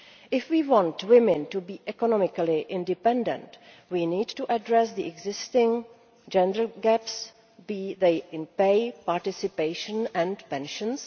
If we want women to be economically independent, we need to address the existing gender gaps, be they in pay, participation or pensions.